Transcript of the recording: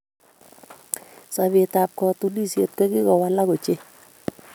Sobeetab katunishiet kogiwolak ochei